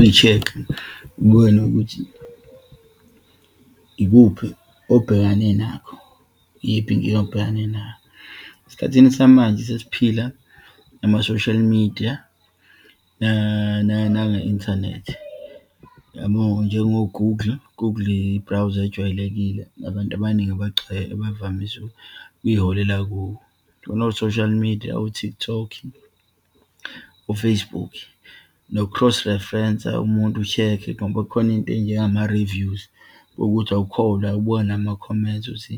Uyi-check-e kuwena okuthi ikuphi obhekane nakho, iyiphi inkinga obhekane nayo. Esikhathini samanje sesiphila nama-social media, nange-inthanethi. Yabo njengo-Google, i-Google i-browser ejwayelekile, nabantu abaningi abagcwele bavamise ukuyiholela kuwo. Khona o-social media, o-TikTok, o-Facebook, noku-cross reference-a, umuntu u-check-e, ngoba khona into eyinjengema-reviews uma wukuthi awukholwa ubuka nama-comments ukuthi